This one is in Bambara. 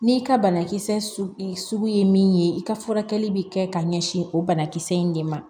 N'i ka banakisɛ sugu ye min ye i ka furakɛli bi kɛ ka ɲɛsin o banakisɛ in de ma